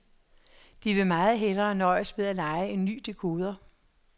De vil meget hellere nøjes med at leje en ny dekoder.